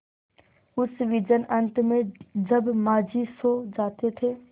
उस विजन अनंत में जब माँझी सो जाते थे